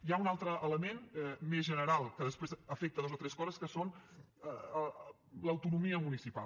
hi ha un altre element més general que després afecta dues o tres coses que és l’autonomia municipal